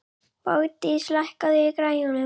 Bogdís, lækkaðu í græjunum.